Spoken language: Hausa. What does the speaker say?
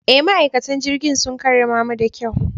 E, ma'aikatan jirigin sun karramamu da kyau.